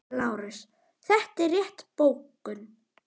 LÁRUS: Þetta er rétt bókun.